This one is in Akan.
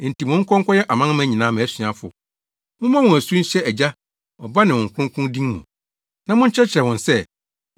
Enti monkɔ nkɔyɛ amanaman nyinaa mʼasuafo. Mommɔ wɔn asu nhyɛ Agya, Ɔba ne Honhom Kronkron din mu,